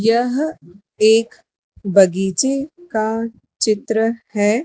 यह एक बगीचे का चित्र है।